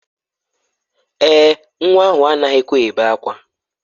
Èè, nwa ahụ anaghịkwa ebe ákwá.